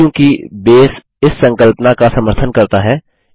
चूँकि बेस इस संकल्पना का समर्थन करता है